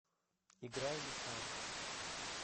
играй метал